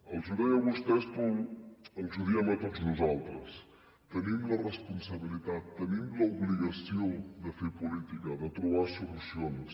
els ho deia a vostès però ens ho diem a tots nosaltres tenim la responsabilitat tenim l’obligació de fer política de trobar solucions